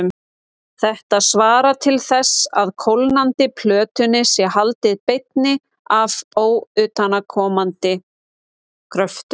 Þetta svarar til þess að kólnandi plötunni sé haldið beinni af utanaðkomandi kröftum.